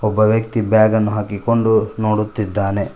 ಒಬ್ಬ ವ್ಯಕ್ತಿ ಬ್ಯಾಗನ್ನು ಹಾಕಿಕೊಂಡು ನೋಡುತ್ತಿದ್ದಾನೆ.